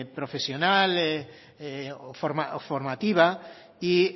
profesional o formativa y